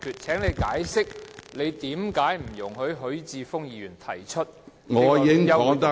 請你解釋，為何不准許許智峯議員提出休會辯論......